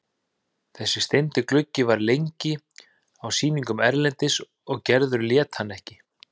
Þessi steindi gluggi var lengi á sýningum erlendis og Gerður lét hann ekki.